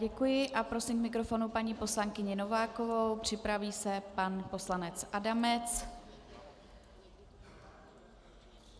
Děkuji a prosím k mikrofonu paní poslankyni Novákovou, připraví se pan poslanec Adamec.